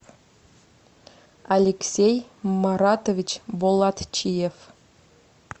алексей маратович болатчиев